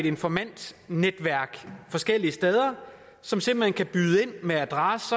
informantnetværk forskellige steder som simpelt hen kan byde ind med adresse